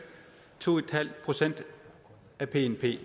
to procent af bnp